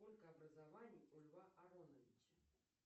сколько образований у льва ароновича